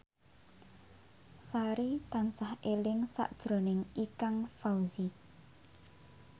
Sari tansah eling sakjroning Ikang Fawzi